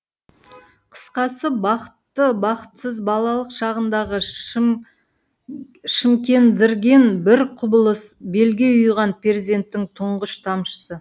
қысқасы бақытты бақытсыз балалық шағыңдағы шымкендірген бір құбылыс белге ұйыған перзенттің тұңғыш тамшысы